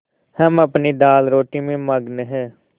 हम अपनी दालरोटी में मगन हैं